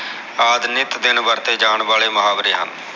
ਆਦ ਨਿਤ ਦਿਨ ਵਰਤੇ ਜਾਨ ਵਾਲੇ ਮੁਹਾਵਰੇ ਹਨ